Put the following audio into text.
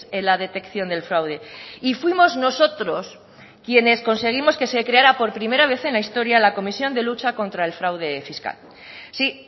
en la detección del fraude y fuimos nosotros quienes conseguimos que se creara por primera vez en la historia la comisión de lucha contra el fraude fiscal sí